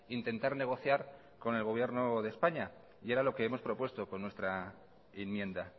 intentar negociar con el gobierno de españa y era lo que hemos propuesto con nuestra enmienda